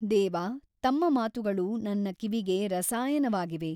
ದೇವ ತಮ್ಮ ಮಾತುಗಳು ನನ್ನ ಕಿವಿಗೆ ರಸಾಯನವಾಗಿವೆ.